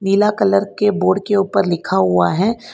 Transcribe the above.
पीला कलर के बोर्ड के ऊपर लिखा हुआ है।